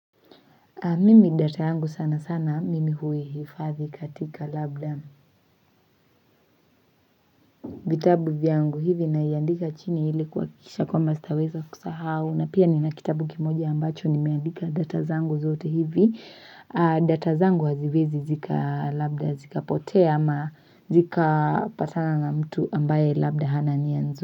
Mimi data yangu sanasana, mimi hui hifadhi katika labda vitabu vyangu hivi naiandika chini hili kuhakikisha kwamba sitaweza kusahau. Na pia nina kitabu kimoja ambacho nimeandika data zangu zote hivi. Data zangu haziwezi labda zikapotea ama zika patana na mtu ambaye labda hana nia nzuri.